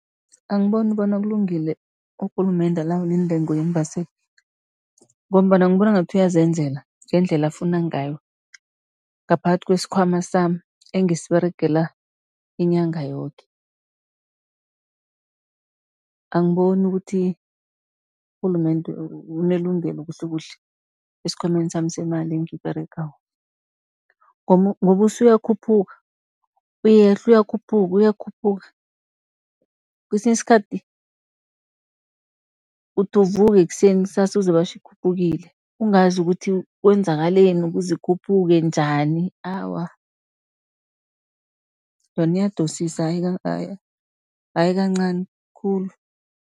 Angiboni bona kulungile urhulumende alawule intengo yeembaseli, ngombana ngibona ngathi uyazenzela ngendlela afuna ngayo, ngaphakathi kwesikhwama sami engisiberegela inyanga yoke. Angiboni ukuthi urhulumende unelungelo kuhlekuhle esikhwameni sami semali engiyiberegako, ngoba usuyakhuphuka uyehla, uyakhuphuka, uyakhuphuka. Kesinye isikhathi uthi uvuka ekuseni, kusasa uzwe batjho ikhuphukile, ungazi ukuthi kwenzakaleni kuze ikhuphuke njani awa, yona iyadosisa ayi kancani khulu.